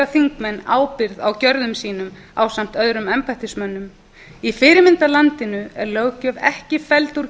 þingmenn ábyrgð á gjörðum sínum ásamt öðrum embættismönnum í fyrirmyndarlandinu er löggjöf ekki felld úr